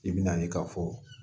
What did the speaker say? I bɛ na ye ka fɔ